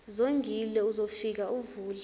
zongile uzofika uvule